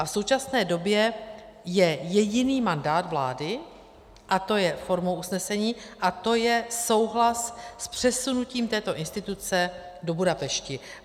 A v současné době je jediný mandát vlády, a to je formou usnesení, a to je souhlas s přesunutím této instituce do Budapešti.